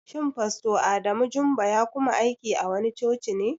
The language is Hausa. Shin fasto Adamu Jumba ya kuma aiki a wani coci ne?